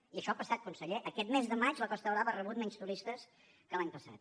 i això ha passat conseller aquest mes de maig la costa brava ha rebut menys turistes que l’any passat